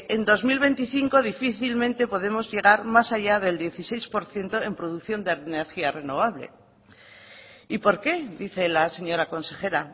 en dos mil veinticinco difícilmente podemos llegar más allá del dieciséis por ciento en producción de energía renovable y por qué dice la señora consejera